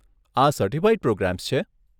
આ certified programs છે?